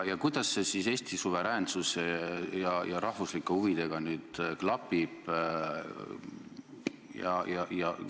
Kuidas see siis Eesti suveräänsuse ja rahvuslike huvidega nüüd klapib?